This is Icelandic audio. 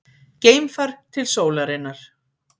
Geimfar til sólarinnar